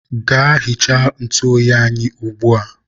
gaa hichaa ntụ oyi anyị ugbua!